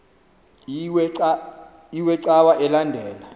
iwe cawa elandela